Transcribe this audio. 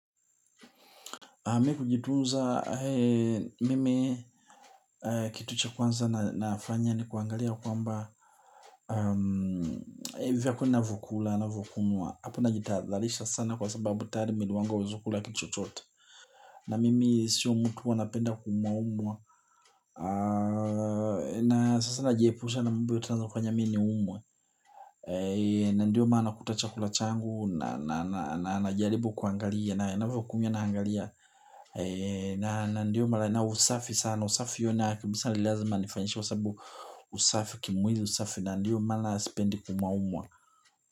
Mimi kujitunza mimi kitu cha kwanza nafanya ni kuangalia kwamba vyenye ninavyokula ninavyokunywa. Hapo ninajitadharisha sana kwa sababu tayari mwili wangu huwezi kula kitu chochote. Na mimi siyo mtu anapenda kuumwaumwa. Na sasa najiepusha na mambo yote inaweza kufanya mimi ni umwe. Na ndiyo maana unakuta chakula changu najaribu kuangalia na ninavyokunywa naangalia. Na usafi sana. Usafi hiyo nao kibisa nilazima nifanishe kwa sababu usafi kimwili usafi na ndiyo maana spendi kuumwaumwa.